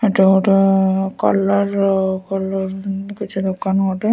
ଏଟା ଗୋଟେ କଲର ର କଲର କିଛି ଦୋକାନ ଗୋଟେ --